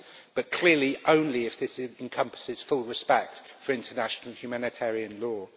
but clearly only if it encompasses full respect for international humanitarian law.